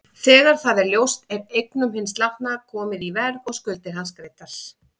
Þegar það er ljóst er eignum hins látna komið í verð og skuldir hans greiddar.